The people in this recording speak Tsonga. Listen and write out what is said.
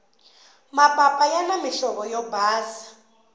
mapapa yani muhlovo wo basa